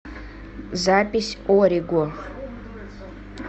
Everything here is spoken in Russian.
запись ориго